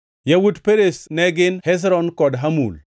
Yawuot Perez ne gin: Hezron kod Hamul.